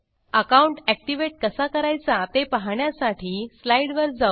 account activate कसा करायचा ते पाहण्यासाठी स्लाईडवर जाऊ